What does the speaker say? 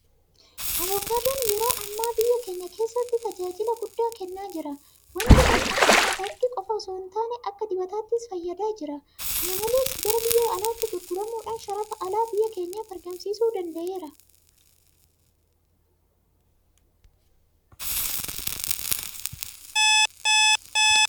Abukaadoon yeroo ammaa biyya keenya keessatti tajaajila guddaa kennaa jira. Waanti kun akka nyaataatti qofa itoo hintaane akka dibataattis fayyadaa jira. Kana malees gara biyya alaatti gurguramuudhaan sharafa alaa biyya keenyaaf argamsiisuu danda'eera.